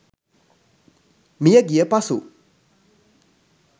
මියගිය පසු